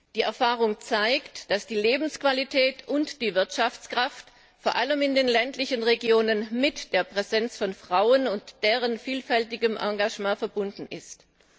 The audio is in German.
Die Erfahrung zeigt, dass die Lebensqualität und die Wirtschaftskraft vor allem in den ländlichen Regionen mit der Präsenz von Frauen und deren vielfältigem Engagement verbunden sind.